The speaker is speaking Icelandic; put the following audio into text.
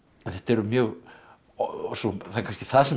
þetta eru mjög og það er kannski það sem